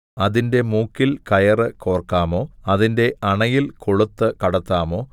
അതിന്റെ മൂക്കിൽ കയറ് കോർക്കാമോ അതിന്റെ അണയിൽ കൊളുത്ത് കടത്താമോ